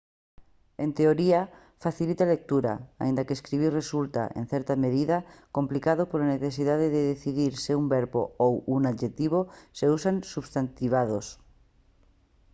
en teoría facilita a lectura aínda que escribir resulta en certa medida complicado pola necesidade de decidir se un verbo ou un adxectivo se usan substantivados